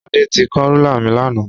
Ṣadé ti kán rúlà mi lánàá.